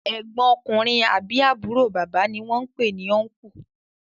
egbon ọkùnrin àbí àbúrò bàbá ní wón pè ni "Uncle"